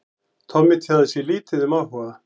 Tommi tjáði sig lítið um áhuga